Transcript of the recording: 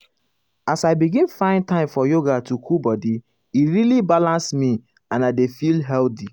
as i begin find time for yoga to cool body e really balance me and i dey feel healthy.